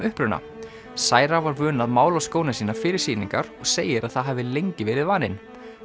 uppruna cira var vön að mála skóna sína fyrir sýningar og segir að það hafi lengi verið vaninn